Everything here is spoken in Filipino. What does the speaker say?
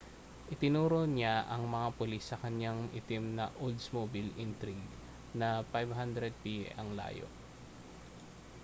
itinuro niya ang mga pulis sa kaniyang itim na oldsmobile intrigue na 500 piye ang layo